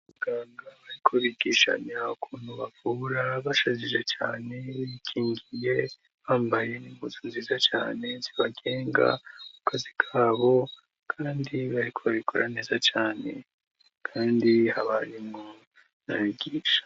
Muganga bariko bigishami aba kuntu bavura bashajije cane bikingiye bambaye n'inguzu ziza cane zibagenga kukazi kabo, kandi bahikobabikora neza cane, kandi habarimu nabigisha.